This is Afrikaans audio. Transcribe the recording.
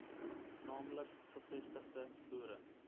naamlik gevestigde boere